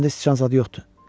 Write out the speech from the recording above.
Məndə sıçan zadı yoxdur.